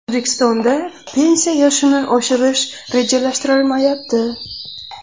O‘zbekistonda pensiya yoshini oshirish rejalashtirilmayapti.